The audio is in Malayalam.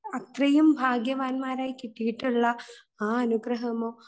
അത്രയും ഭാഗ്യവാന്മാര് ആയി കിട്ടിയിട്ടുള്ള ആ അനുഗ്രഹമോ